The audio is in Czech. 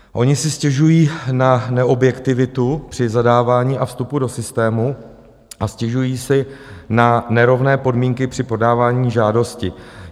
Oni si stěžují na neobjektivitu při zadávání a vstupu do systému a stěžují si na nerovné podmínky při podávání žádosti.